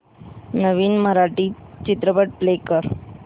नवीन मराठी चित्रपट प्ले कर